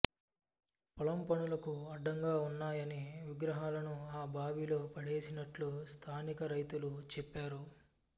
పొలం పనులకు అడ్డంగా వున్నాయని విగ్రహాలను ఆ బావిలో పడేసినట్లు స్థానికరైతులు చెప్పారు